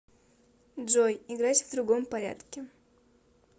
джой играть в другом порядке